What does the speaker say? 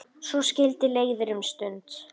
Svo skildi leiðir um stund.